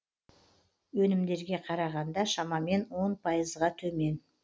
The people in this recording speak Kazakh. өнімдерге қарағанда шамамен он пайызға төмен